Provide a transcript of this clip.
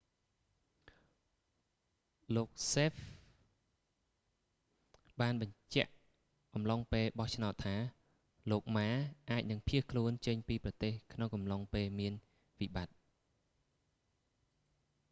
លោកសេហ្វ hsieh បានបញ្ជាក់អំឡុងពេលបោះឆ្នោតថា លោកម៉ា ma អាចនឹងភៀសខ្លួនចេញពីប្រទេសក្នុងអំឡុងពេលមានវិបត្តិ